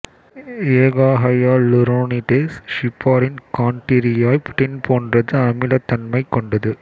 எ கா hyaluronidase heparin chondroitin போன்றது அமிலத்தன்மைக் கொண்டது